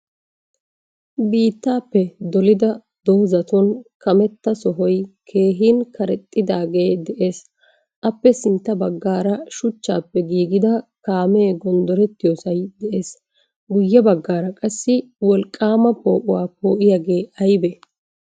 Biittappe dolida dozatun kaametta sohoy keehin kareexxidaage de'ees. Appe sintta bagaara shuchchappe giigida kaame goondoretiyosay de'ees. Guye bagaara qaassi woolqqama poo'uwa poo'iyaage ayibe?